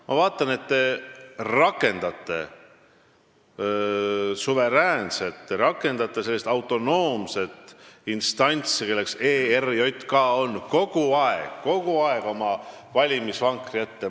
Ma vaatan, et te rakendate kogu aeg sellist suveräänset, autonoomset institutsiooni, nagu ERJK on, oma valimisvankri ette.